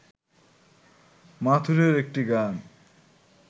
মাথুরের একটি গান